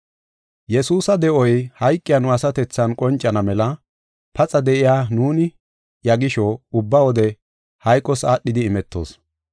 Yesuusa de7oy hayqiya nu asatethan qoncana mela paxa de7iya nuuni iya gisho, ubba wode hayqos aadhidi imetoos.